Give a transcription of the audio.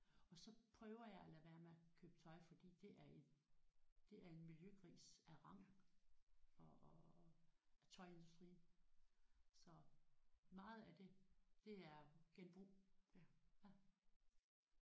Og så prøver jeg at lade være med at købe tøj fordi det er en det er en miljøgris af rang og og og af tøjindustrien så meget af det er genbrug